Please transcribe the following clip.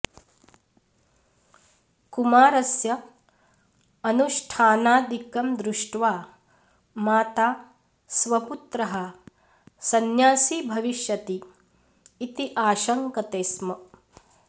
कुमारस्य अनुष्ठानादिकं दृष्ट्वा माता स्वपुत्रः संन्यासी भविष्यति इति आशङ्कते स्म